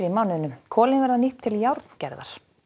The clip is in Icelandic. mánuðinum kolin verða nýtt til járngerðar